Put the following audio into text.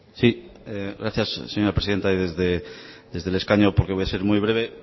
sí gracias señora presidente y desde el escaño porque voy a ser muy breve